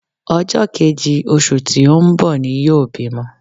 Ọjọ́ kejì oṣù tí ó ń bọ̀ ni yóò bímọ